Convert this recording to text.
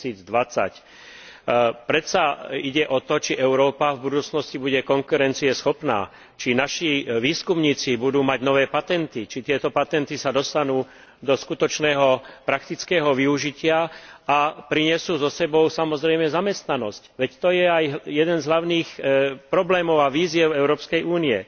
2020. Predsa ide o to, či Európa v budúcnosti bude konkurencieschopná, či naši výskumníci budú mať nové patenty, či sa tieto patenty dostanú do skutočného praktického využitia a prinesú so sebou samozrejme zamestnanosť, veď to je aj jeden z hlavných problémov a výziev Európskej únie.